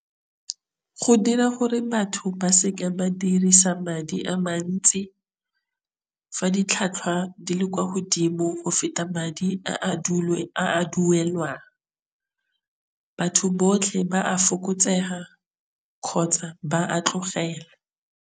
Go dira gore batho ba se ke ba dirisa madi a mantsi. Fa ditlhotlhwa di le kwa godimo go feta madi a dule a duelwang. Batho botlhe ba a fokotsega kgotsa ba a tlogela.